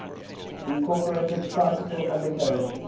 incorporated tricycle undercarriage